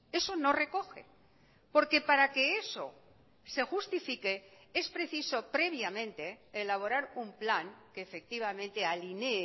eso no recoge porque para que eso se justifique es preciso previamente elaborar un plan que efectivamente alinee